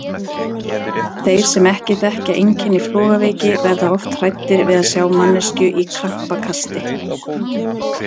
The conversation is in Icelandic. Þeir sem ekki þekkja einkenni flogaveiki verða oft hræddir við að sjá manneskju í krampakasti.